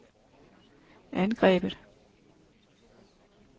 angrebet